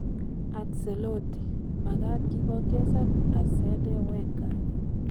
Ancelotti: Makat kipongesan Arsene Wenger